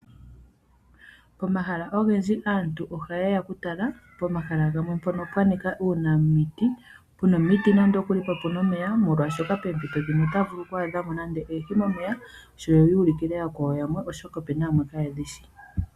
Omahala ogendji aantu ohayeya okutala pomahala gamwe mpono pwanika uunamiti, puna omiti nande okuli po opuna omeya molwashoka poomito dhimwe otaya vulu oku adhamo oohi momeya yoyuulukile ooyakwawo oshoka opena yamwe kayedhityi.